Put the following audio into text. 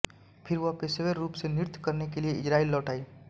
फिर वह पेशेवर रूप से नृत्य करने के लिए इज़राइल लौट आई